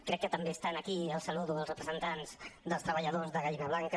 crec que també estan aquí els saludo els representants dels treballadors de gallina blanca